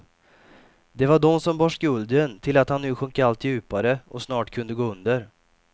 Det var de som bar skulden till att han nu sjönk allt djupare och snart kunde gå under.